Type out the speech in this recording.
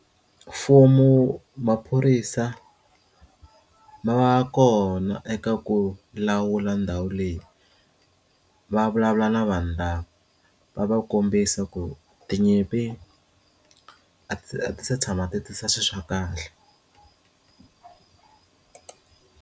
Mfumo maphorisa ma va kona eka ku lawula ndhawu leyi va vulavula na vanhu lava va va kombisa ku tinyimpi a ti se tshama ti tisa swilo swa kahle.